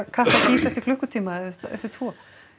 Katla gýs eftir klukkutíma eða eftir tvo